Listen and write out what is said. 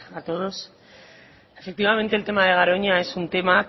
a todos efectivamente el tema de garoña es un tema